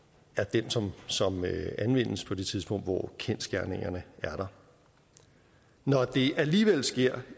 den som anvendes på det tidspunkt hvor kendsgerningerne er der når det alligevel sker